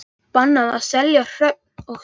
Bannað að selja hrogn og seiði